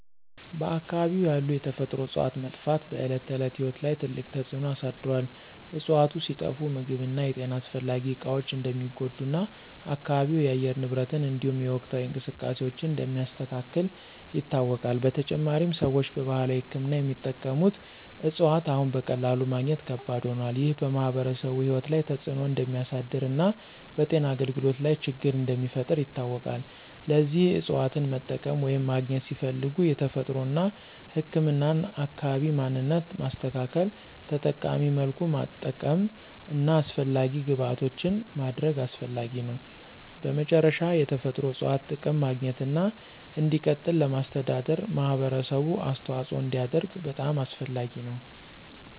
በአካባቢው ያሉ የተፈጥሮ እፅዋት መጥፋት በዕለት ተዕለት ሕይወት ላይ ትልቅ ተጽዕኖ አሳድሮአል። እፅዋቱ ሲጠፋ ምግብ እና የጤና አስፈላጊ እቃዎች እንደሚጎዱ እና አካባቢው የአየር ንብረትን እንዲሁም የወቅታዊ እንቅስቃሴዎችን እንደሚያስተካክል ይታወቃል። በተጨማሪም፣ ሰዎች በባህላዊ ሕክምና የሚጠቀሙት እፅዋት አሁን በቀላሉ ማግኘት ከባድ ሆኗል። ይህ በማኅበረሰቡ ሕይወት ላይ ተጽዕኖ እንደሚያሳድር እና በጤና አገልግሎት ላይ ችግር እንደሚፈጥር ይታወቃል። ለዚህ እፅዋትን መጠቀም ወይም ማግኘት ሲፈለግ የተፈጥሮን እና ህክምናን አካባቢ ማንነት ማስተካከል፣ ተጠቃሚ መልኩ ማጠቀም እና አስፈላጊ ግብዓቶችን ማድረግ አስፈላጊ ነው። በመጨረሻ፣ የተፈጥሮ እፅዋት ጥቅም ማግኘትና እንዲቀጥል ለማስተዳደር ማህበረሰቡ አስተዋጽኦ እንዲያደርግ በጣም አስፈላጊ ነው።